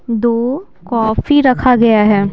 दो कॉफी रखा गया है।